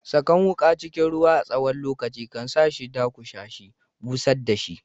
Sakan wuka cikin ruwa a tsawon lokaci kan sa shi dakusashe, busher da shi.